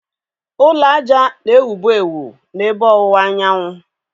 Ụlọ ájá na-ewu bụ ewu n'ebe ọwụwa anyanwụ.